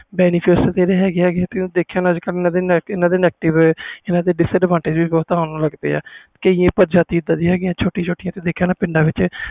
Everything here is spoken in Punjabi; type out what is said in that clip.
benifit ਤੇ ਇਹਦੇ ਹੈ ਗਏ ਹੈ ਗਏ ਆ ਇਹਨਾਂ disadvantage ਵੀ ਬਹੁਤ ਆਣ ਲੱਗ ਗਏ ਪਾਏ ਆ ਜਿਵੇ ਛੋਟੀ ਛੋਟੀ ਜਾਤੀ